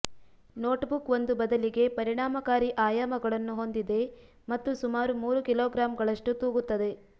notebook ಒಂದು ಬದಲಿಗೆ ಪರಿಣಾಮಕಾರಿ ಆಯಾಮಗಳನ್ನು ಹೊಂದಿದೆ ಮತ್ತು ಸುಮಾರು ಮೂರು ಕಿಲೋಗ್ರಾಂಗಳಷ್ಟು ತೂಗುತ್ತದೆ